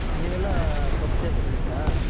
ನೀವೆಲ್ಲಾ ಕಬ್ ಜಾಸ್ತಿ ಬೆಳಿತಿರ.